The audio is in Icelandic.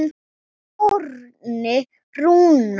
Árni Rúnar.